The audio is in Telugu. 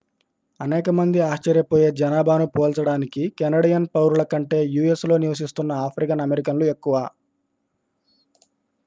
అనేక మంది ఆశ్చర్యపోయే జనాభా ను పోల్చడానికి: కెనడియన్ పౌరుల కంటే u.s.లో నివసిస్తున్న ఆఫ్రికన్ అమెరికన్లు ఎక్కువ